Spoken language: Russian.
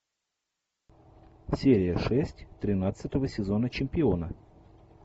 серия шесть тринадцатого сезона чемпиона